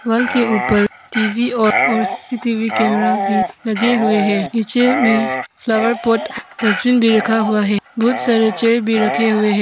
Wall के ऊपर TV और और सी_सी_टी_वी कैमरा भी लगे हुए है नीचे में फ्लावर पॉट डस्टबिन भी रखा हुआ है बहुत सारे चेयर भी रखे हुए है।